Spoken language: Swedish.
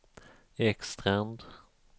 Ekstrand